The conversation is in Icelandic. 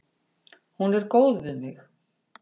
Hún er góð við mig.